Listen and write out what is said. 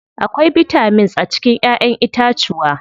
Akwai bitamins a cikin ƴaƴen itacuwa.